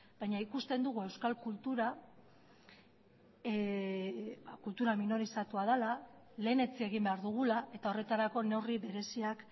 baina ikusten dugu euskal kultura kultura minorizatua dela lehenetsi egin behar dugula eta horretarako neurri bereziak